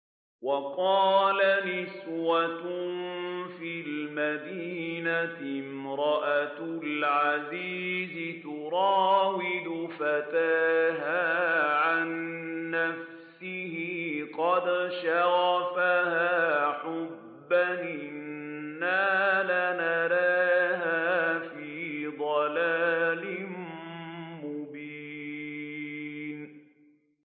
۞ وَقَالَ نِسْوَةٌ فِي الْمَدِينَةِ امْرَأَتُ الْعَزِيزِ تُرَاوِدُ فَتَاهَا عَن نَّفْسِهِ ۖ قَدْ شَغَفَهَا حُبًّا ۖ إِنَّا لَنَرَاهَا فِي ضَلَالٍ مُّبِينٍ